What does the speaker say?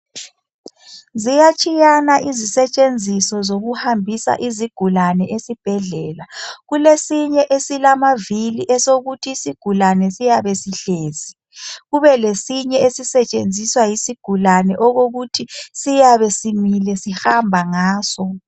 ziyatsheyana izisetshenziso zokuhambisa izigulane ezibhedlela kulesinye esilamavili esokuthi isigulane siyabe sihlezi kube lesinye esisetshenziswa yisigulane okokuthi siyabe simile sihamba ngaso